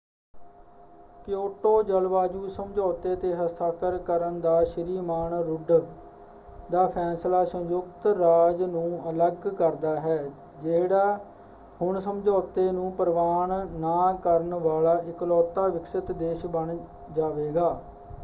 Kyoto ਜਲਵਾਯੂ ਸਮਝੌਤੇ 'ਤੇ ਹਸਤਾਖਰ ਕਰਨ ਦਾ ਸ਼੍ਰੀ ਮਾਨ ਰੁੱਡ ਦਾ ਫੈਸਲਾ ਸੰਯੁਕਤ ਰਾਜ ਨੂੰ ਅਲੱਗ ਕਰਦਾ ਹੈ ਜਿਹੜਾ ਹੁਣ ਸਮਝੌਤੇ ਨੂੰ ਪ੍ਰਵਾਨ ਨਾ ਕਰਨ ਵਾਲਾ ਇਕਲੌਤਾ ਵਿਕਸਿਤ ਦੇਸ਼ ਬਣ ਜਾਵੇਗਾ।